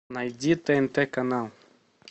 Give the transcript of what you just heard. найди тнт канал